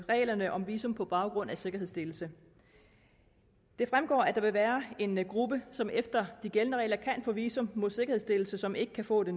reglerne om visum på baggrund af sikkerhedsstillelse det fremgår at der vil være en gruppe som efter de gældende regler kan få visum mod sikkerhedsstillelse som ikke kan få det